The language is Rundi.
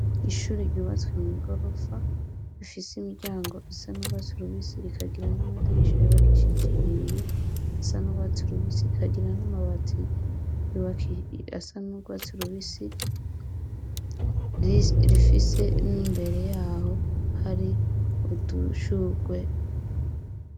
Ishuri ryubatswe mw'igorofa ifse imiryango isa n'ugwatsi rubisi rikagira n'amadirisha yubakishije ibiyo bisa n'ugwatsi rubisi kandi rikagira n'amabati asa n'ugwatsi rubisi. Rifise n'imbere yaho hari udushugwe.